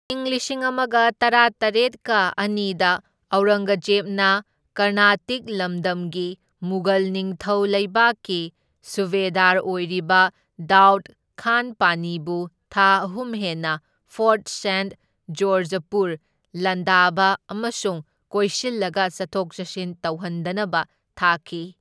ꯏꯪ ꯂꯤꯁꯤꯡ ꯑꯃꯒ ꯇꯔꯥꯇꯔꯦꯠꯀ ꯑꯅꯤꯗ ꯑꯧꯔꯪꯒꯖꯦꯕꯅ ꯀꯔꯅꯥꯇꯤꯛ ꯂꯝꯗꯝꯒꯤ ꯃꯨꯘꯜ ꯅꯤꯡꯊꯧ ꯂꯩꯕꯥꯛꯀꯤ ꯁꯨꯚꯦꯗꯥꯔ ꯑꯣꯏꯔꯤꯕ ꯗꯥꯎꯗ ꯈꯥꯟ ꯄꯥꯟꯅꯤꯕꯨ ꯊꯥ ꯑꯍꯨꯝ ꯍꯦꯟꯅ ꯐꯣꯔꯠ ꯁꯦꯟꯠ ꯖꯣꯔꯖꯄꯨ ꯂꯥꯟꯗꯥꯕ ꯑꯃꯁꯨꯡ ꯀꯣꯏꯁꯤꯜꯂꯒ ꯆꯠꯊꯣꯛ ꯆꯠꯁꯤꯟ ꯇꯧꯍꯟꯗꯅꯕ ꯊꯥꯈꯤ꯫